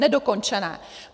Nedokončené.